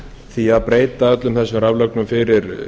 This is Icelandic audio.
því að breyta öllum þessum raflögnum fyrir